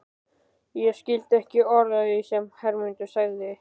Ég skildi ekki orð af því sem Hermundur sagði.